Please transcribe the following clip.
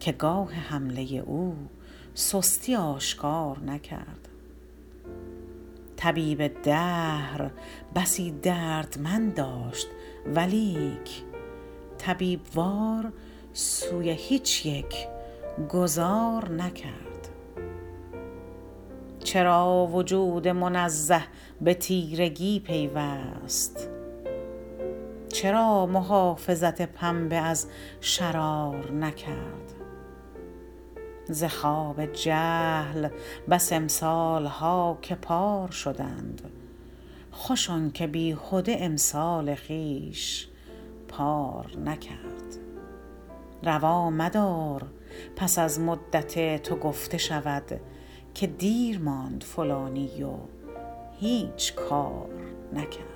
که گاه حمله او سستی آشکار نکرد طبیب دهر بسی دردمند داشت ولیک طبیب وار سوی هیچ یک گذار نکرد چرا وجود منزه به تیرگی پیوست چرا محافظت پنبه از شرار نکرد ز خواب جهل بس امسالها که پار شدند خوش آنکه بیهده امسال خویش پار نکرد روا مدار پس از مدت تو گفته شود که دیر ماند فلانی و هیچ کار نکرد